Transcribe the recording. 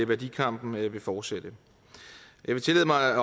værdikampen vil fortsætte jeg vil tillade mig